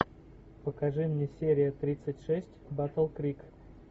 покажи мне серия тридцать шесть батл крик